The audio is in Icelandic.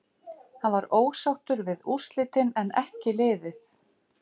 Hann var ósáttur við úrslitin en en ekki liðið.